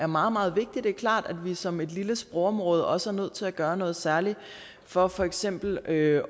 meget meget vigtig det er klart at vi som et lille sprogområde også er nødt til at gøre noget særligt for for eksempel at